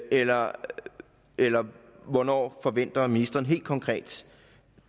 eller eller hvornår forventer ministeren helt konkret